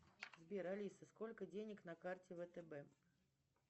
сбер алиса сколько денег на карте втб